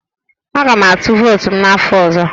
Aga m atụ vootu m n'afọ ọzọ